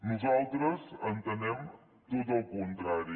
nosaltres entenem tot el contrari